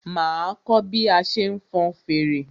Máa kọ́ bí a ṣe ń fọn fèrè.